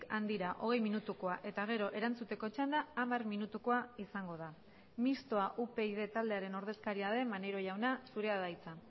handira hogei minutukoa eta gero erantzuteko txanda hamar minutukoa izango da mistoa upyd taldearen ordezkaria den maneiro jauna zurea da hitza